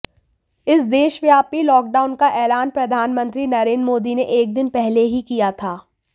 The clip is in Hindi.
इस देशव्यापी लॉकडाउन का एलान प्रधानमंत्री नरेंद्र मोदी ने एक दिन पहले ही किया था